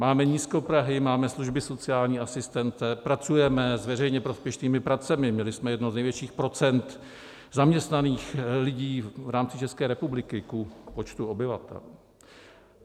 Máme nízkoprahy, máme služby - sociální asistent, pracujeme s veřejně prospěšnými pracemi, měli jsme jedno z největších procent zaměstnaných lidí v rámci České republiky ku počtu obyvatel.